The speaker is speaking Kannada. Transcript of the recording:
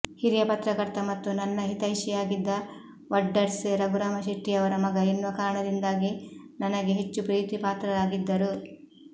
ಹಿರಿಯ ಪತ್ರಕರ್ತ ಮತ್ತು ನನ್ನ ಹಿತೈಷಿಯಾಗಿದ್ದ ವಡ್ಡರ್ಸೆ ರಘುರಾಮ ಶೆಟ್ಟಿಯವರ ಮಗ ಎನ್ನುವ ಕಾರಣದಿಂದಾಗಿ ನನಗೆ ಹೆಚ್ಚು ಪ್ರೀತಿಪಾತ್ರರಾಗಿದ್ದರು